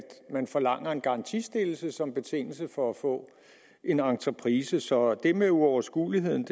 man forlanger en garantistillelse som betingelse for at få en entreprise så det med uoverskueligheden